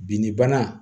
Binni bana